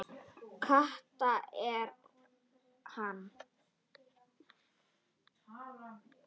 Kata er hann!